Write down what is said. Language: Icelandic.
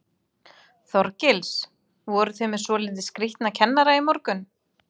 Þorgils: Voru þið með svolítið skrítna kennara í morgun?